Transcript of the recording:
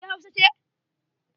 Ke Hausa ce?